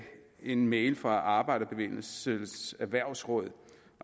en mail fra arbejderbevægelsens erhvervsråd